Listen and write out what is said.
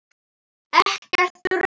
Ekkert rusl.